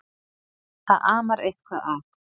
Það amar eitthvað að.